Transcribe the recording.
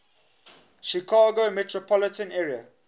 chicago metropolitan area